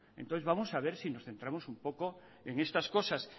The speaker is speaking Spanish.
entonces vamos a ver si nos centramos un poco en estas cosas